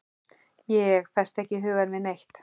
Ég festi ekki hugann við neitt.